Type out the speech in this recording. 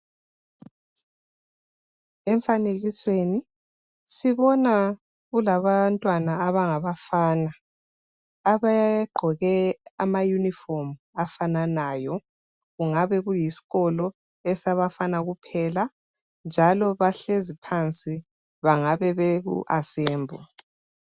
Emfanekisweni sibona kulabantwana abangabafana abagqoke ama uniform afananayo kungabe kuyisikolo esabafana kuphela njalo bahlezi phansi bangabe beku assembly.